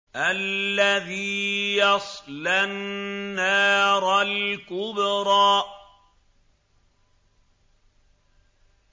الَّذِي يَصْلَى النَّارَ الْكُبْرَىٰ